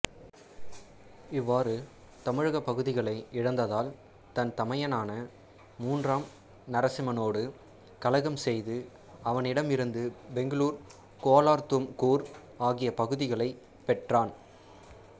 இவ்வாறு தமிழகப் பகுதிகளை இழந்ததால் தன் தமையனான மூன்றாம் நரசிம்மனோடு கலகம் செய்து அவனிடமிருந்து பெங்களூர்கோலார்தும்கூர் ஆகிய பகுதிகளைப் பெற்றான்